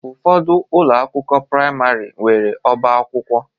Ụfọdụ ụlọ akwụkwọ praịmarị nwere ọbá akwụkwọ